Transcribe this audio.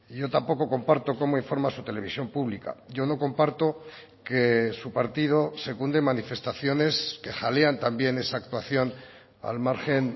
yo tampoco comparto cómo informa su televisión pública yo no comparto que su partido secunde manifestaciones que jalean también esa actuación al margen